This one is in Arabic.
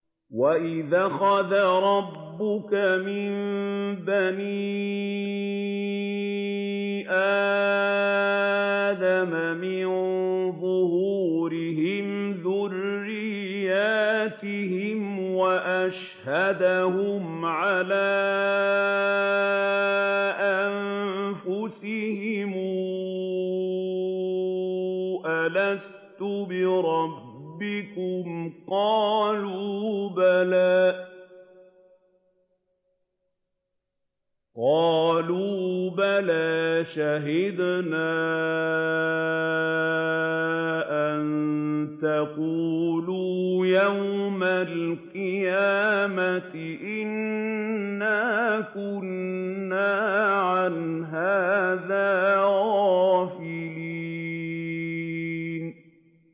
وَإِذْ أَخَذَ رَبُّكَ مِن بَنِي آدَمَ مِن ظُهُورِهِمْ ذُرِّيَّتَهُمْ وَأَشْهَدَهُمْ عَلَىٰ أَنفُسِهِمْ أَلَسْتُ بِرَبِّكُمْ ۖ قَالُوا بَلَىٰ ۛ شَهِدْنَا ۛ أَن تَقُولُوا يَوْمَ الْقِيَامَةِ إِنَّا كُنَّا عَنْ هَٰذَا غَافِلِينَ